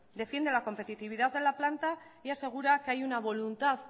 defiende la competitividad de la planta y asegura que hay una voluntad